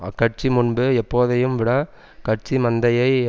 அக்கட்சி முன்பு எப்போதையும் விட கட்சி மந்தையை